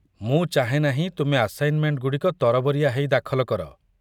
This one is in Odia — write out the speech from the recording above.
ମୁଁ ଚାହେଁ ନାହିଁ ତୁମେ ଆସାଇନମେଣ୍ଟଗୁଡ଼ିକ ତରବରିଆ ହେଇ ଦାଖଲ କର।